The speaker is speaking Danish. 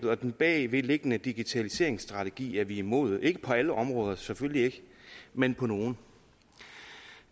og den bagvedliggende digitaliseringsstrategi er vi imod ikke på alle områder selvfølgelig ikke men på nogle